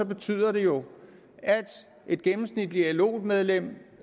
betyder det jo at et gennemsnitligt lo medlem